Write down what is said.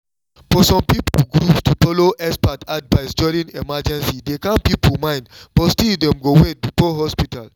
for some groups to follow expert advice during emergency dey calm people mind but still dem go wait before hospital.